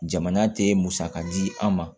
Jamana tɛ musaka di an ma